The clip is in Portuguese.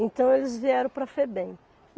Então eles vieram para a Febem.